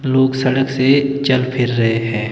लोग सड़क से चल फिर रहे हैं।